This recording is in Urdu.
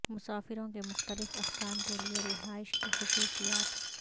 مسافروں کے مختلف اقسام کے لئے رہائش کی خصوصیات